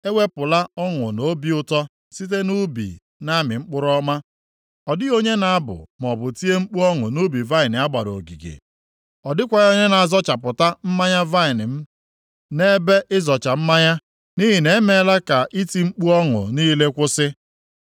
Ewepụla ọṅụ na obi ụtọ site nʼubi na-amị mkpụrụ ọma, ọ dịghị onye na-abụ maọbụ tie mkpu ọṅụ nʼubi vaịnị a gbara ogige; ọ dịkwaghị onye na-azọchapụta mmanya m vaịnị nʼebe ịzọcha mmanya; nʼihi na emeela m ka iti mkpu ọṅụ niile kwụsị.